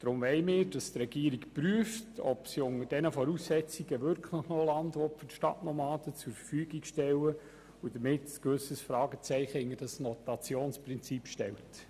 Deshalb wollen wir, dass die Regierung prüft, ob sie unter diesen Voraussetzungen wirklich noch Land für die Stadtnomaden zur Verfügung stellen will und damit ein gewisses Fragezeichen hinter das Rotationsprinzip stellt.